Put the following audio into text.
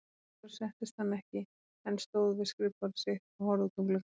Sjálfur settist hann ekki, en stóð við skrifborðið sitt og horfði út um gluggann.